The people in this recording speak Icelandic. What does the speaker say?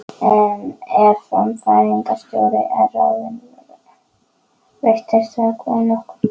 Ef framkvæmdastjóri er ráðinn breytist þetta nokkuð.